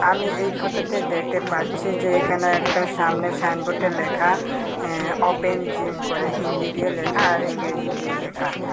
আমি এই ফটোতে দেখতে পাচ্ছি যে এখানে একটা সামনে সাইনবোর্ডে লেখা এ্যা ওপেন জিম করে হিন্দি দিয়ে লেখা আর ইংরেজি দিয়ে লেখা।